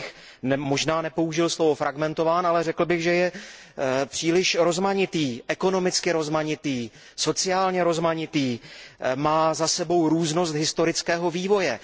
Já bych možná nepoužil slovo fragmentován, ale řekl bych, že je příliš rozmanitý, ekonomicky rozmanitý, sociálně rozmanitý, má za sebou různost historického vývoje.